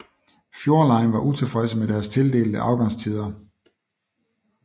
Fjord Line var utilfredse med deres tildelte afgangstider